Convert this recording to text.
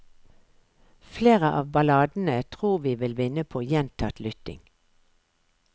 Flere av balladene tror vi vil vinne på gjentatt lytting.